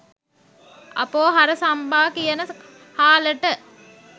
අපෝ අර සම්බා කියන හාලට